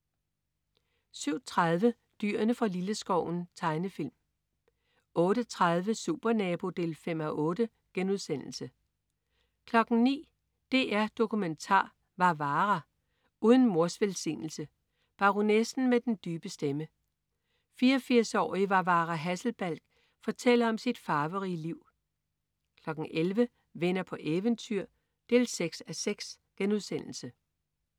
07.30 Dyrene fra Lilleskoven. Tegnefilm 08.30 Supernabo 5:8* 09.00 DR Dokumentar: Varvara. Uden mors velsignelse. Baronessen med den dybe stemme, 84-årige Varvara Hasselbalch, fortæller om sit farverige liv 11.00 Venner på eventyr 6:6*